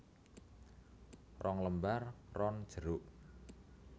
Rong lembar ron jeruk